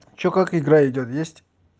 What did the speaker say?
что как игра идёт есть